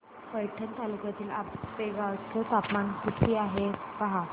पैठण तालुक्यातील आपेगाव चं तापमान किती आहे पहा